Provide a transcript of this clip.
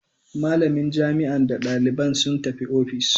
Malamin jami'an da dalibin suka tafi office.